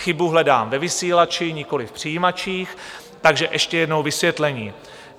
Chybu hledám ve vysílači, nikoliv v přijímačích, takže ještě jednou vysvětlení.